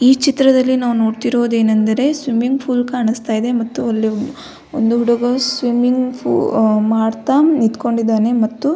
ಈ ಚಿತ್ರದಲ್ಲಿ ನಾವು ನೊಡ್ತಿರೊದು ಏನಂದ್ರೆ ಸ್ವಿಮ್ಮಿಂಗ್ ಫೂಲ್ ಕಾಣಿಸ್ತಾ ಇದೆ ಮತ್ತು ಅಲ್ಲಿ ಒಂದು ಹುಡುಗ ಸ್ವಿಮ್ಮಿಂಗ್ ಫು ಮಾಡ್ತ ನಿಂತ್ಕೊಂಡಿದ್ದಾನೆ ಮತ್ತು --